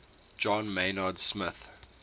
john maynard smith